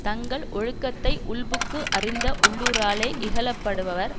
தங்கள் ஒழுக்கத்தை உள்புக்கு அறிந்த உள்ளூராலே இகழப்படுபவர்